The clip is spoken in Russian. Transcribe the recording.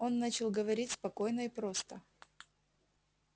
он начал говорить спокойно и просто